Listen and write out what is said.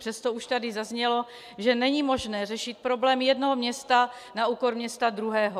Přesto už tady zaznělo, že není možné řešit problém jednoho města na úkor města druhého.